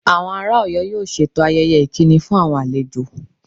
Àwọn ará Oyo yóò ṣètò ayẹyẹ ìkíni fún àwọn àlejò